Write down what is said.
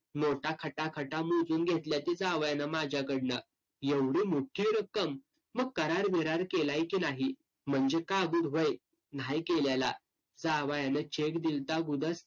नोटा खटाखटा मोजून घेतल्याती जावयानं माझ्याकडनं. एवढी मोठी रक्कम? मग करार-बिरार केलाय की नाही? म्हणजे कागुद होय. न्हाई केलेला. जावयानं cheque दिलता